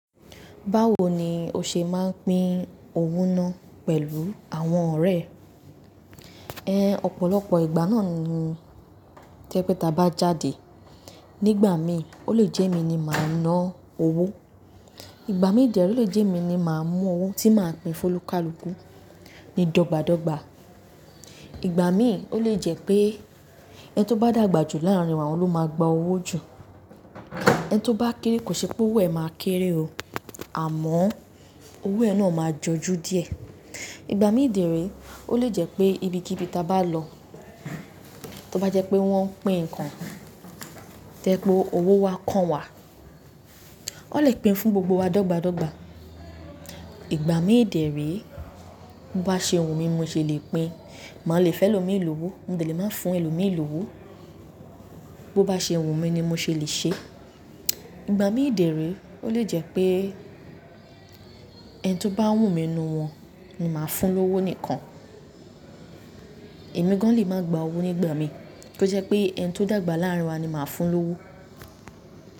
Báwo ni o ṣe máa ń pín owó náà pẹ̀lú àwọn ọ̀rẹ́ ẹ? Ẹ̀ ọ̀pọ̀lọpọ̀ ìgbà náà ni tẹ́ pé tí a bá jáde. Nígbà mi, ó lè jẹ́ emi ni màá ná owó. Ìgbà mi dè ree o lè jẹ́ emi ni màá mú owó tí màá pín fólukàlùkù ní dọ́gba dọ́gba. Ìgbà mi ó lè jẹ́ pé ẹni tó bá dàgbà jù láàrin wa ni òun máa gbà owó jù. Ẹni tó bá kéré kò ṣe pé owó ẹ̀ máa kéré o, àmọ́ owó ẹ̀ náà máa jọjú díẹ̀. Ìgbà mi dẹ rèé ò le jẹ́ pé ibi kíbí tí a bá lọ, tó bá jẹ́ pé wọ́n pín ǹkan, tẹ́ pé owó wa kan wà, ó lè pín fún gbogbo wa dọ́gba dọ́gba. Ìgbà mi dẹ̀ rẹ̀ẹ́ bí ó bá ṣe wù mí ni mo ṣè lè pín. Màá lè fẹ́ lómi ní owó, mo lè máa fún ẹlòmíì lówó. Bo bá ṣe wù mí ni mo ṣè lè ṣe. Ìgbà mi dẹ̀ ree ó lè jẹ́ pé ẹni tó bá wù mí nínú wọn ni màá fún lówó nìkan. Èmi gan lè máa gba owó nígbà mi kí ó jẹ́ pé ẹni tó dàgbà láàrin wa ni màá fún lówó.